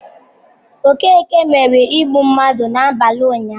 Okeke mere igbu mmadụ n'abalị ụnyahụ.